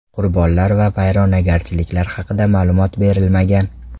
Qurbonlar va vayronagarchiliklar haqida ma’lumot berilmagan.